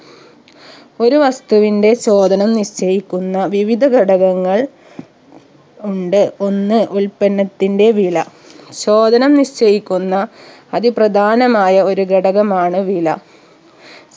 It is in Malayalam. ഒരു വസ്തുവിന്റെ ചോധനം നിശ്ചയിക്കുന്ന വിവിധ ഘടകങ്ങൾ ഉണ്ട് ഒന്ന് ഉൽപ്പന്നത്തിന്റെ വില ചോദനം നിശ്ചയിക്കുന്ന അതി പ്രധാനമായ ഒരു ഘടകമാണ് വില